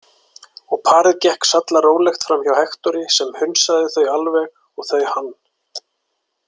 Og parið gekk sallarólegt framhjá Hektori sem hunsaði þau alveg og þau hann.